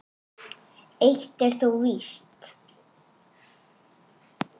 Fordyri svo nefna má.